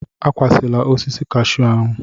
Akwụsịla osisi cashew ahụ!